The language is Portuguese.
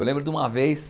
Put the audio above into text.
Eu lembro de uma vez...